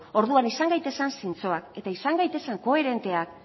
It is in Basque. orduan izan gaitezen zintzoak eta izan gaitezen koherenteak